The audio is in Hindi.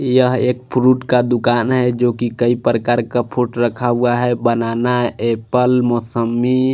यहाँ एक फ्रूट का दुकान है जोकि कहि प्रकार का फ्रूट रखा हुआ है बनाना एप्पल मोसम्बी--